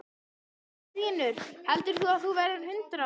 Magnús Hlynur: Og heldur þú að þú verðir hundrað ára?